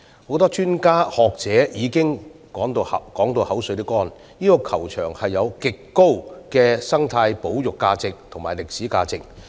很多專家和學者已不斷重申，這個球場具極高生態保育價值和歷史價值。